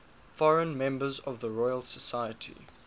foreign members of the royal society